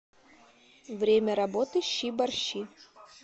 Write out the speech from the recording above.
время работы щи борщи